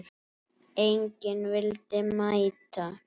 Enginn vildi mæta.